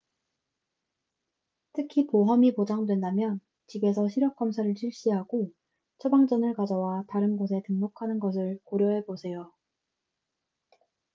특히 보험이 보장된다면 집에서 시력 검사를 실시하고 처방전을 가져와 다른 곳에 등록하는 것을 고려해보세요